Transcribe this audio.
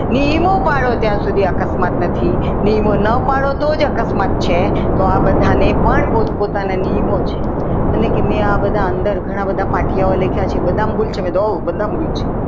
નિયમો પાડો ત્યાં સુધી અકસ્માત નથી થવાના નિયમો ના પાડો તો જ અકસ્માત થાય છે તો આ બધાને પણ પોતપોતાના નિયમો છે મને કે નિયમો તો ઘણા બધા પાટિયામાં લખ્યા છે બધામાં ભૂલ છે મેં કીધું હોવ ભૂલ છે.